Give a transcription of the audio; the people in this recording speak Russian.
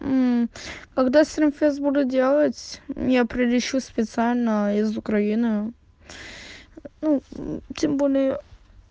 когда стримфест буду делать я прилечу специально из украины ну тем более